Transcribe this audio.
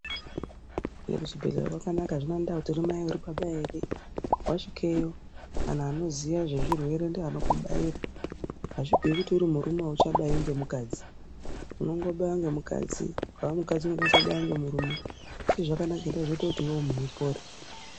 Muzvibhedhlera makanaka. Hazvinei kuti mai uri baba ere, wasvikeyo anhu anoziya zvezvirwere ndiwo anokubaira. Hazvibviri kuti uri murume hauchabaiwi ngemukadzi, unongobaiwa ngemukadzi. Kana ukaa mukadzi unongobaiwa nemurume. Chazvakanakira ngechekuti